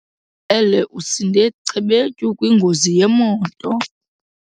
ele usinde cebetshu kwingozi yemoto.